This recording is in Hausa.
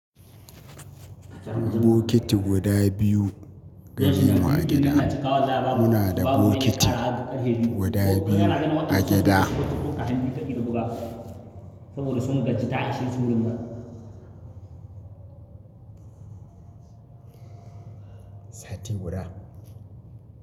Bokiti guda biyu gare mu a gida. Muna da bokiti guda biyu a gida. Sati guda.